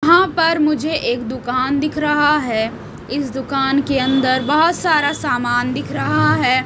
यहां पर मुझे एक दुकान दिख रहा हैं इस दुकान के अंदर बहोत सारा समान दिख रहा हैं।